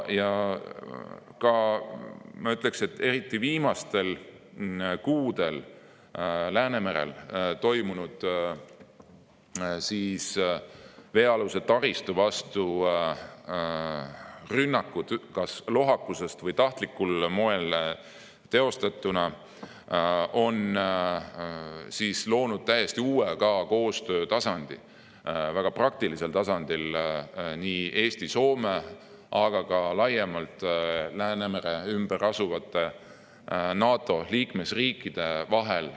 Ma ütleksin, et ka eriti viimastel kuudel Läänemerel toimunud rünnakud veealuse taristu vastu – kas lohakusest tingituna või tahtlikul moel teostatuna – on loonud täiesti uue koostöötasandi väga praktiliselt nii Eesti ja Soome kui ka laiemalt Läänemere ümber asuvate NATO liikmesriikide vahel.